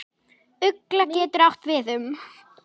Ugla getur átt við um